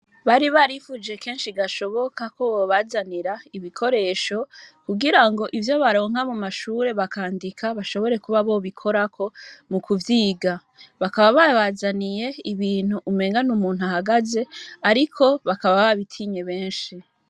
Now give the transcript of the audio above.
bari barifuje kensgi gashoboka kugira babazanire ibikoresho kugirango ivyo baronka mumashure bakandika bashobore kuba bobikorako mukuvyiga ariko bakaba babazaniye umuntu ahagaze bakaba babitinye benshi